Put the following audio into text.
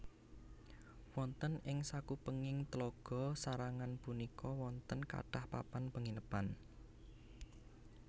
Wonten ing sakupenging Tlaga sarangan punika wonten kathah papan panginepan